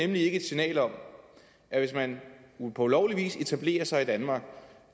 det ikke et signal om at hvis man på ulovlig vis etablerer sig i danmark og